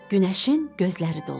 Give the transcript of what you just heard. Günəşin gözləri doldu.